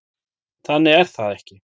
Þannig er það ekki.